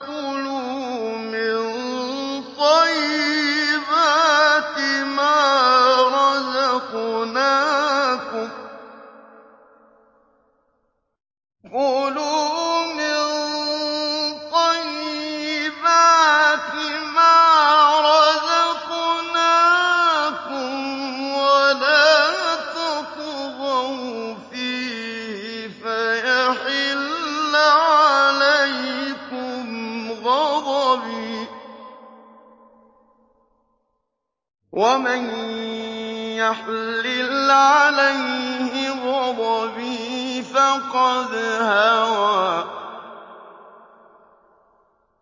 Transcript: كُلُوا مِن طَيِّبَاتِ مَا رَزَقْنَاكُمْ وَلَا تَطْغَوْا فِيهِ فَيَحِلَّ عَلَيْكُمْ غَضَبِي ۖ وَمَن يَحْلِلْ عَلَيْهِ غَضَبِي فَقَدْ هَوَىٰ